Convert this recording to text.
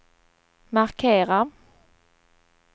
markera